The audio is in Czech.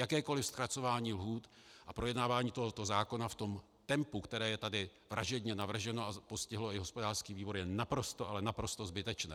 Jakékoli zkracování lhůt a projednávání tohoto zákona v tom tempu, které je tady vražedně navrženo a postihlo i hospodářský výbor, je naprosto, ale naprosto zbytečné.